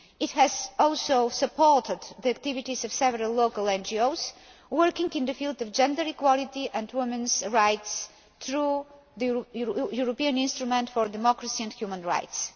It has also supported the activities of several local NGOs working in the field of gender equality and women's rights through the European Instrument for Democracy and Human Rights.